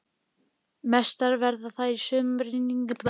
Hallkell upplýsti að framganga erindrekans hefði hleypt illsku í eyjamennina.